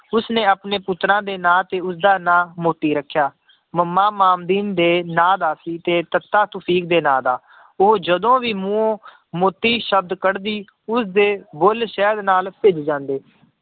ਉਸਨੇ ਆਪਣੇ ਪੁੱਤਰਾਂ ਦੇ ਨਾਂ ਤੇ ਉਸਦਾ ਨਾਂ ਮੋਤੀ ਰੱਖਿਆ, ਮੱਮਾ ਮਾਮਦੀਨ ਦੇ ਨਾਂ ਦਾ ਸੀ ਤੇ ਤੱਤਾ ਤੁਫ਼ੀਕ ਦੇ ਨਾਂ ਦਾ, ਉਹ ਜਦੋਂ ਵੀ ਮੂੰਹੋਂ ਮੋਤੀ ਸ਼ਬਦ ਕੱਢਦੀ, ਉਸਦੇ ਬੁੱਲ ਸ਼ਹਿਦ ਨਾਲ ਭਿੱਜ ਜਾਂਦੇ।